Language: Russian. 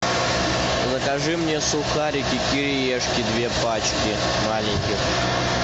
закажи мне сухарики кириешки две пачки маленьких